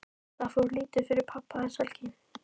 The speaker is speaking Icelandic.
Það fór lítið fyrir pabba þessa helgi.